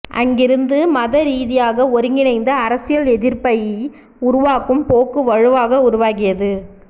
அங்கிருந்து மத ரீதியாக ஒருங்கிணைந்து அரசியல் எதிர்ப்பை உருவாக்கும் போக்கு வலுவாக உருவாகியது